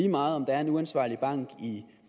lige meget om der er en uansvarlig bank i